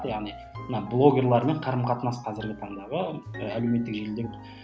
яғни мына блогерлермен қарым қатынас қазіргі таңдағы әлеуметтік желіде